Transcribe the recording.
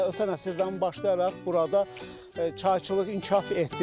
Hələ ötən əsrdən başlayaraq burada çayçılıq inkişaf etdirilib.